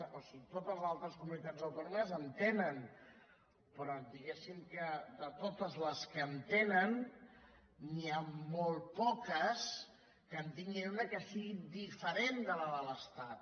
o sigui totes les altres comunitats autònomes en tenen però diguéssim que de totes les que en tenen n’hi ha molt poques que en tinguin una que sigui diferent de la de l’estat